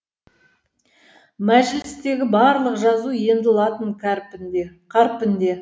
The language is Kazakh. мәжілістегі барлық жазу енді латын қарпінде